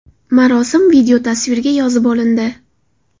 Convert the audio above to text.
Marosim videotasvirga yozib olindi.